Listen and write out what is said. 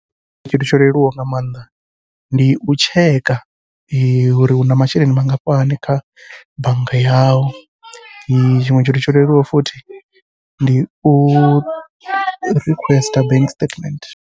Tshithu tsho leluwaho nga maanḓa ndi u tsheka, uri u na masheleni mangafhani kha bannga yau. Tshiṅwe tshithu tsho leluwaho futhi ndi u requester bank statement.